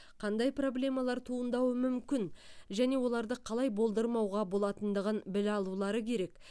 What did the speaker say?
қандай проблемалар туындауы мүмкін және оларды қалай болдырмауға болатындығын біле алулары керек